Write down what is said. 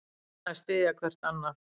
Reyna að styðja hvert annað